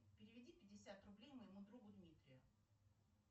переведи пятьдесят рублей моему другу дмитрию